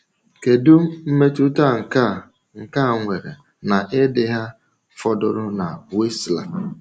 Kedu mmetụta nke a nke a nwere n’ịdị ha fọdụrụ na Wisła?